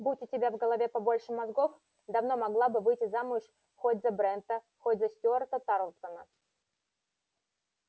будь у тебя в голове побольше мозгов давно могла бы выйти замуж хоть за брента хоть за стюарта тарлтона